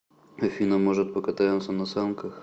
афина может покатаемся на санках